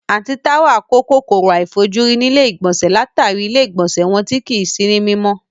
Àǹtí Táwà kó kòkòrò àìfojúrí nílé ìgbọ̀nsẹ̀ látàrí ilé ìgbọ̀nsẹ́ wọn tí kìí sí ní mímọ́